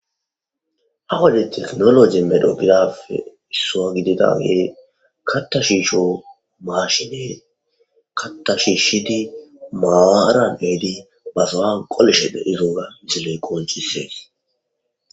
Ha wodde tekkinoljjey medho gidoggape isso giididiyagey katta shisho mashshiney katta shishidi maaran eehidi ba sowan qollishe deiyobba missiley qonccisses.